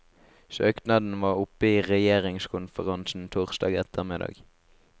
Søknaden var oppe i regjeringskonferansen torsdag ettermiddag.